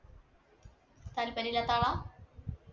താല്പര്യം ഇല്ലാത്ത ആളാ.